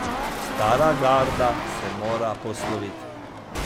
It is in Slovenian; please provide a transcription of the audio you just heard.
Stara garda se mora posloviti.